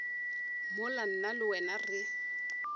mola nna le wena re